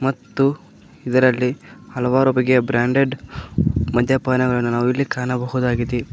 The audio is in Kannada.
ಮತ್ತು ಇದರಲ್ಲಿ ಹಲವಾರು ಬಗೆಯ ಬ್ರಾಂಡೆಡ್ ಮದ್ಯಪಾನಗಳನ್ನ ನಾವಿಲ್ಲಿ ಕಾಣಬಹುದಾಗಿದೆ.